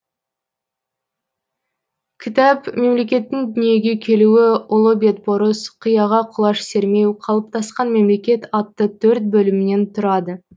кітап мемлекеттің дүниеге келуі ұлы бетбұрыс қияға құлаш сермеу қалыптасқан мемлекет атты төрт бөлімнен тұрады